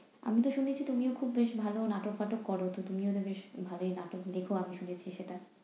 আমি তো শুনেছি তুমি খুব বেশ নাটক ফাটক করো। তো তুমি বেশ ভালোই নাটক লেখো আমি শুনেছি সেটা।